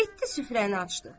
Getdi süfrəni açdı.